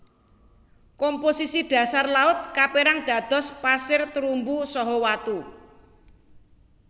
Komposisi dhasar laut kaperang dados pasir terumbu saha watu